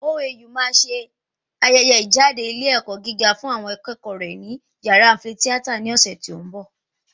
OAU máa se ayẹyẹ ìjáde ilé ẹ̀kọ́ gíga fún àwọn akẹ́kọ̀ọ́ rẹ̀ ni yàrá áḿfì ní ọ̀sẹ̀ tó ń bọ̀